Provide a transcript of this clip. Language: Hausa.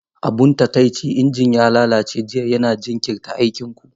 Abin taƙaici, injin ya lalace jiya, yana jinkirta aikin ku.